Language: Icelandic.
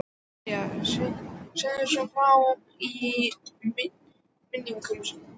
María segir svo frá í minningum sínum: